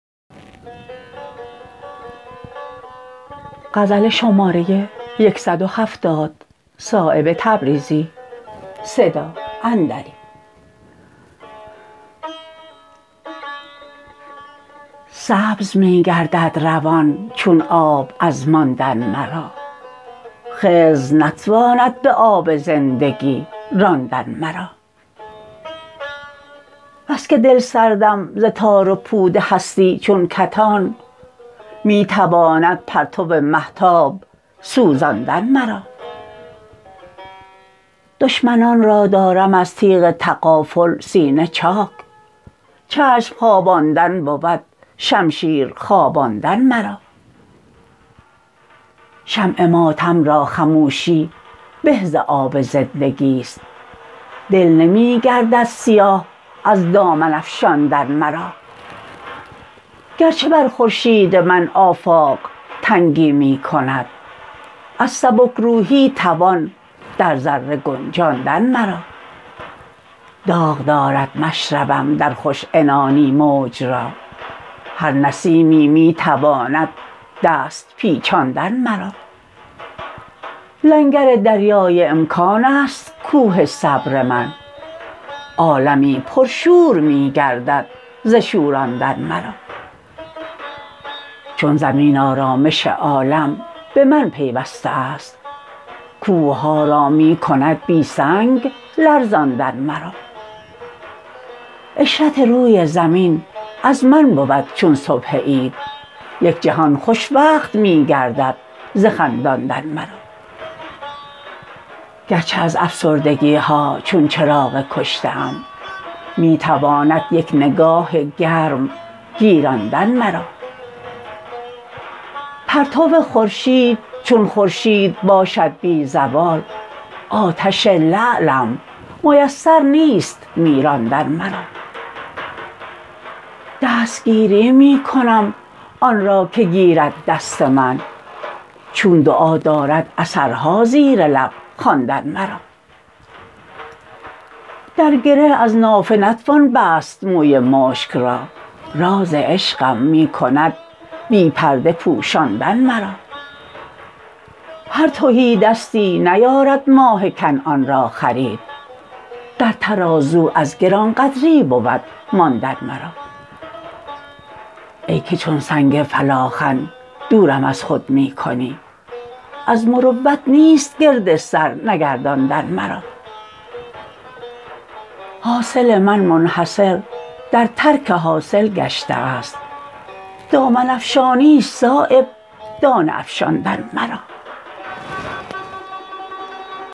سبز می گردد روان چون آب از ماندن مرا خضر نتواند به آب زندگی راندن مرا بس که دلسردم ز تار و پود هستی چون کتان می تواند پرتو مهتاب سوزاندن مرا دشمنان را دارم از تیغ تغافل سینه چاک چشم خواباندن بود شمشیر خواباندن مرا شمع ماتم را خموشی به ز آب زندگی است دل نمی گردد سیاه از دامن افشاندن مرا گرچه بر خورشید من آفاق تنگی می کند از سبکروحی توان در ذره گنجاندن مرا داغ دارد مشربم در خوش عنانی موج را هر نسیمی می تواند دست پیچاندن مرا لنگر دریای امکان است کوه صبر من عالمی پر شور می گردد ز شوراندن مرا چون زمین آرامش عالم به من پیوسته است کوهها را می کند بی سنگ لرزاندن مرا عشرت روی زمین از من بود چون صبح عید یک جهان خوشوقت می گردد ز خنداندن مرا گرچه از افسردگی ها چون چراغ کشته ام می تواند یک نگاه گرم گیراندن مرا پرتو خورشید چون خورشید باشد بی زوال آتش لعلم میسر نیست میراندن مرا دستگیری می کنم آن را که گیرد دست من چون دعا دارد اثرها زیرلب خواندن مرا در گره از نافه نتوان بست موی مشک را راز عشقم می کند بی پرده پوشاندن مرا هر تهیدستی نیارد ماه کنعان را خرید در ترازو از گرانقدری بود ماندن مرا ای که چون سنگ فلاخن دورم از خود می کنی از مروت نیست گرد سر نگرداندن مرا حاصل من منحصر در ترک حاصل گشته است دامن افشانی است صایب دانه افشاندن مرا